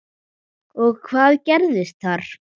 og Hvað er þetta?